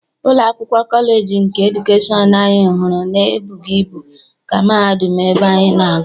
Ụlọ akwụkwọ kọleji nke edukeshọn ahụ anyị hụrụ e bụghị ibu ka mahadum ebe anyị na-agụ.